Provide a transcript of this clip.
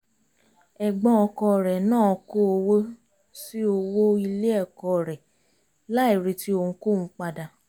ẹ̀gbọ́n ọkùnrin náà kó owó sí owó ilé ẹ̀kọ́ rẹ̀ láì retí ohunkóhun padà